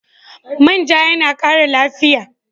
Man ja yana ƙara lafiya.